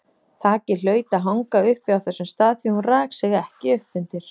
Þakið hlaut að hanga uppi á þessum stað því hún rak sig ekki upp undir.